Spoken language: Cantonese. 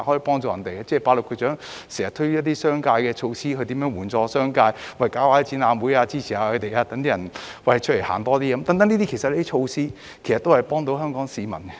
局長亦經常推出一些支援商界的措施，例如舉辦展覽會，鼓勵市民多外出走走，這些措施皆能幫助香港市民。